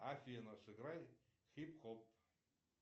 афина сыграй хип хоп